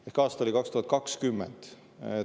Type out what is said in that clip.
Ehk aasta oli 2020.